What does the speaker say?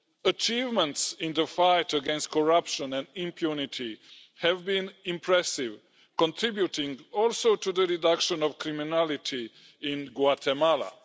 Achievements in the fight against corruption and impunity have been impressive, also contributing to the reduction of criminality in Guatemala.